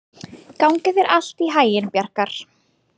Gangi þér allt í haginn, Bjarkar.